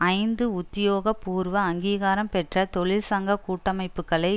ஐந்து உத்தியோகபூர்வ அங்கீகாரம் பெற்ற தொழிற்சங்க கூட்டமைப்புக்களை